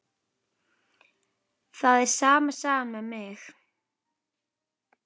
Það er sama sagan með mig.